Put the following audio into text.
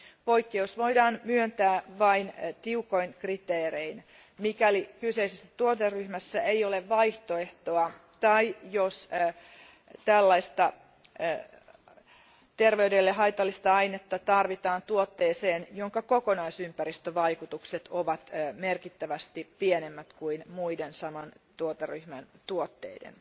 Poikkeus voidaan myöntää vain tiukoin kriteerein, mikäli kyseisessä tuoteryhmässä ei ole vaihtoehtoa tai jos tällaista terveydelle haitallista ainetta tarvitaan tuotteeseen, jonka kokonaisympäristövaikutukset ovat merkittävästi pienemmät kuin muiden saman tuoteryhmän tuotteiden.